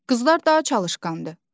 Qızlar daha çalışqandır.